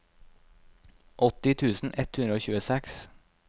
åtti tusen ett hundre og tjueseks